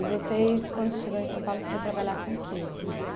E vocês, quando você chegou em São Paulo, você foi trabalhar com o que, Rita?